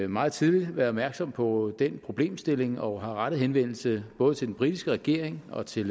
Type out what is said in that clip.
meget tidligt været opmærksom på den problemstilling og har rettet henvendelse både til den britiske regering og til